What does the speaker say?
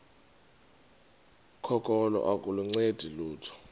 kokholo aluncedi lutho